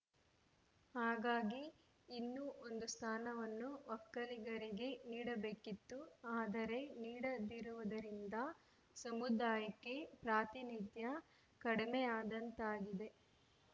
ಹಾಗಾಗಿ ಇನ್ನೂ ಒಂದು ಸ್ಥಾನವನ್ನು ಒಕ್ಕಲಿಗರಿಗೆ ನೀಡಬೇಕಿತ್ತು ಆದರೆ ನೀಡದಿರುವುದರಿಂದ ಸಮುದಾಯಕ್ಕೆ ಪ್ರಾತಿನಿಧ್ಯ ಕಡಿಮೆಯಾದಂತಾಗಿದೆ